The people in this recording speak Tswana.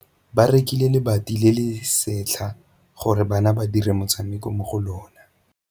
Ba rekile lebati le le setlha gore bana ba dire motshameko mo go lona.